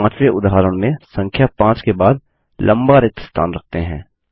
चलिए पांचवे उदाहरण में संख्या 5 के बाद लम्बा रिक्त स्थान रखते हैं